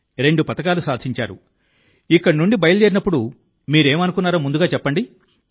రెండు పతకాలు సాధించి ఇక్కడ నుండి బయలుదేరినప్పుడు మీరేం అనుకున్నారో ముందుగా చెప్పండి